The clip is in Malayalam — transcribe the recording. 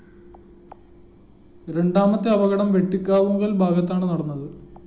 രണ്ടാമത്തെ അപകടം വെട്ടിക്കാവുങ്കല്‍ ഭാഗത്താണ് നടന്നത്